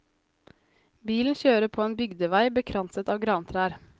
Bilen kjører på en bygdevei bekranset av grantrær.